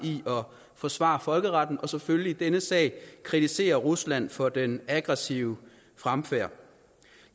forsvare folkeretten og selvfølgelig i denne sag kritisere rusland for den aggressive fremfærd